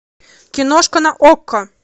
киношка на окко